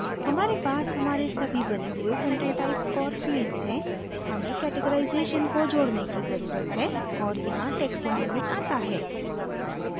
हमारे पास हमारे सभी बने हुए content types और fields हैं हमें categorization को जोडने की जरूरत है और यहाँ taxonomy आता है